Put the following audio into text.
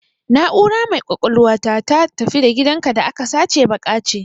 Na'ura mai kwakwalwa ta, ta "tafi da gidanka" da aka sace baƙe ce.